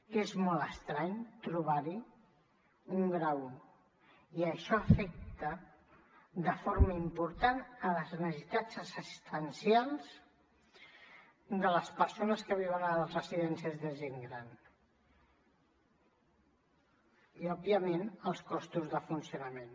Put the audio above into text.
que és molt estrany trobar hi un grau i i això afecta de forma important les necessitats assistencials de les persones que viuen a les residències de gent gran i òbviament els costos de funcionament